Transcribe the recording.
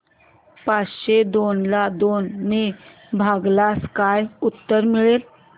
पाचशे दोन ला दोन ने भागल्यास काय उत्तर मिळेल